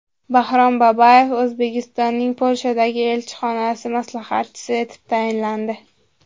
Baxrom Babayev O‘zbekistonning Polshadagi elchixonasi maslahatchisi etib tayinlandi.